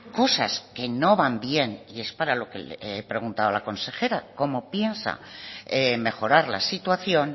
cosas que no van bien y es para lo que le he preguntado a la consejera cómo piensa mejorar la situación